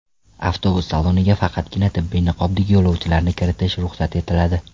Avtobus saloniga faqatgina tibbiy niqobdagi yo‘lovchilarni kiritish ruxsat etiladi.